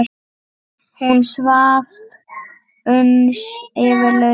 Hún svaf uns yfir lauk.